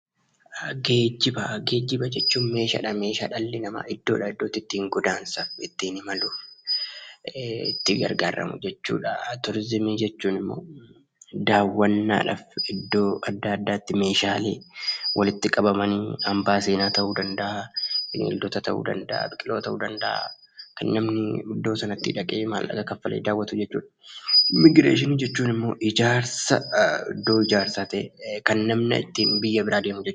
Geejjiba jechuun meeshaadha, meeshaa dhalli namaa iddootii iddootti ittiin godaansa, ittiin imalu, itti gargaaramu jechuudha. Turizimii jechuun immoo daawwannaadhaaf iddoo adda addaatti meeshaaleen walitti qabamanii, hambaa seenaa ta'uu danda'a, bineeldota ta'uu danda'a, biqiloota ta'uu danda'a kan namni iddoo sanatti dhaqee maallaqa kanfalee daawwatu jechuudha. Immigireeshinii jechuun immoo ijaarsa, iddoo ijaarsaa ta'ee kan namni ittiin biyya biraa deemu jechuudha.